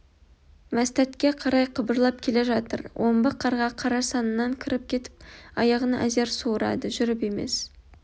мәстәтке қарай қыбырлап келе жатыр омбы қарға қара саннан кіріп кетіп аяғын әзер суырады жүріп емес